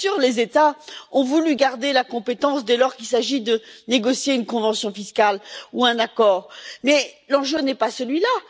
Bien sûr, les États ont voulu garder la compétence dès lors qu'il s'agit de négocier une convention fiscale ou un accord, mais l'enjeu n'est pas celui là.